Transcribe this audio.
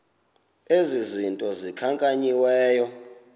ezi zinto zikhankanyiweyo